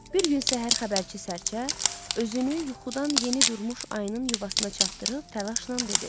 Bir gün səhər xəbərçi sərçə özünü yuxudan yeni durmuş ayının yuvasına çatdırıb təlaşnan dedi.